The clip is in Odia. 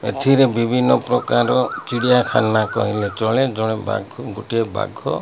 ଏଥିରେ ବିଭିନ୍ନ ପ୍ରକାର ଚିଡ଼ିଆଖାନା କହିଲେ ଚଳେ। ଦଳେ ବାଘ ଗୋଟିଏ ବାଘ --